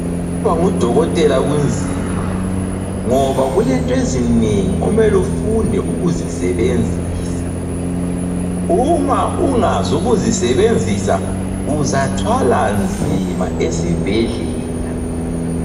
Ukuba ngudokotela kunzima ngoba kulento ezinengi omele ufunde ukuzisebenzisa. Uma ungazi ukuzisebenzisa, uzathwala nzima esibhedlela.